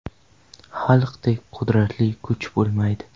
Xalqdek qudratli kuch bo‘lmaydi’.